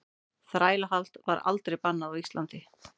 Þrælahald var aldrei bannað á Íslandi.